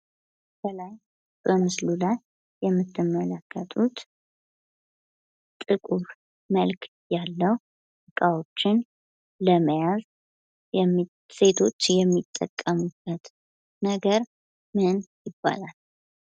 በምስሉ ላይ የምትመለከቱት ጥቁር መልክ ያለው እቃዎችን ለመያዝ ሴቶች የሚጠቀሙበት ነገር ምን ይባላል?